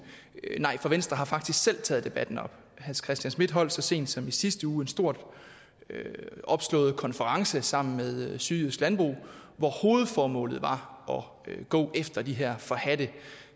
nej for venstre har faktisk selv taget debatten op hans christian schmidt holdt så sent som i sidste uge en stort opslået konference sammen med sydjysk landbrug hvor hovedformålet var at gå efter de her forhadte